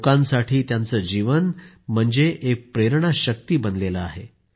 लोकांसाठी त्यांचं जीवन म्हणजे एक प्रेरणा शक्ती बनले आहे